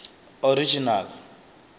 original